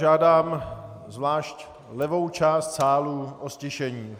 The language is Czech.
Žádám zvlášť levou část sálu o ztišení.